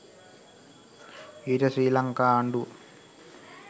ඊට ශ්‍රී ලංකා ආණ්ඩුව